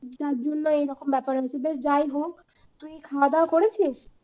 যার জন্য এইরকম ব্যাপার হচ্ছে, বেশ যাই হোক, তুই খাওয়া দাওয়া করেছিস?